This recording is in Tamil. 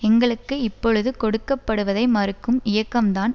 எங்களுக்கு இப்பொழுது கொடுக்க படுவதை மறுக்கும் இயக்கம்தான்